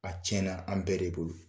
A tiɲɛna an bɛɛ de bolo.